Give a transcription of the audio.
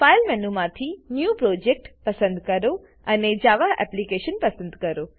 file મેનુમાંથી new project પસંદ કરો અને જાવા એપ્લિકેશન પસંદ કરો